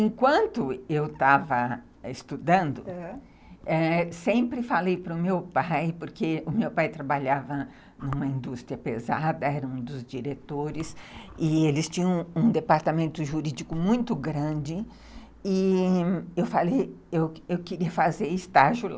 Enquanto eu estava estudando, aham, sempre falei para o meu pai, porque o meu pai trabalhava numa indústria pesada, era um dos diretores, e eles tinham um um departamento jurídico muito grande, e eu falei, eu eu queria fazer estágio lá.